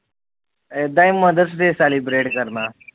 ਏਦਾ ਈ ਕਰਨਾ